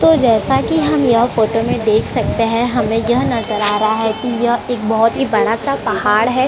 तो जैसा की हम यह फोटो में देख सकते है की हमे यह नजर आ रहा है की यह एक बहोत ही बड़ा सा पहाड़ है।